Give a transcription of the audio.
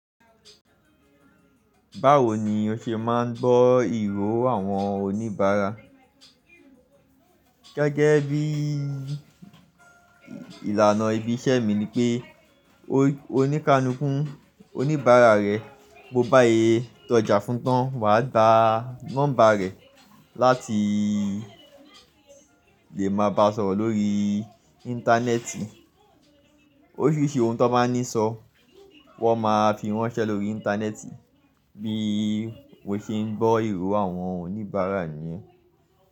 Báwo ni o ṣe máa ń bọ́ ìró àwọn oníbàárà? Gẹ́gẹ́ bí ìlànà ibi iṣẹ́ mi ni pé oníkanúkún oníbàárà rẹ, bó bá yé tọ́já fún tán wa gbàá nọ́mbà rẹ̀ láti lè máa bá a sọ̀rọ̀ lórí íńtánẹ́ẹ̀tì. Oríṣìíríṣìí ohun tó bá ní sọ wọ́n máa fi ránṣẹ́ lórí íńtánẹ́ẹ̀tì bí mó ṣe ń gbọ́ ìró àwọn oníbàárà níyẹn.